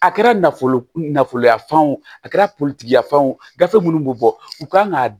A kɛra nafolo nafoloya fan o a kɛra politigi ye fɛn o gafe minnu bɛ bɔ u kan ka